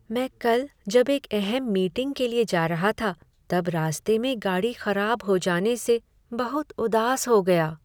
मैं कल जब एक अहम मीटिंग के लिए जा रहा था तब रास्ते में गाड़ी खराब हो जाने से बहुत उदास हो गया।